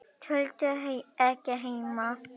Tolldu ekki heima.